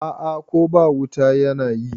A'a Ko ba wuta yana yi